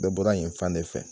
Bɛɛ bɔra yen fan de fɛ.